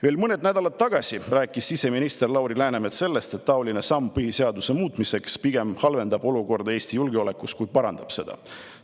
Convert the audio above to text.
" Veel mõned nädalad tagasi rääkis siseminister Lauri Läänemets sellest, et taoline samm põhiseaduse muutmiseks pigem halvendab Eesti julgeolekuolukorda, kui parandab seda.